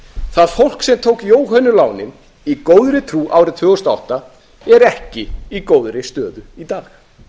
það fólk sem tók jóhönnulánin í góðri trú árið tvö þúsund og átta er ekki í góðri stöðu í dag